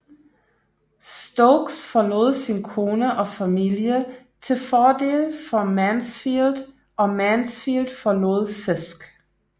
Stokes forlod sin kone og familie til fordel for Mansfield og Mansfield forlod Fisk